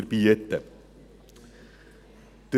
Mein Vorredner hat dies eigentlich sehr gut erklärt.